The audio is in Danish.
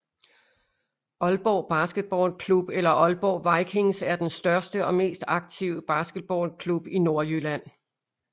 Aalborg Basketball Klub eller Aalborg Vikings er den største og mest aktive basketballklub i Nordjylland